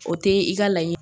O te i ka laɲini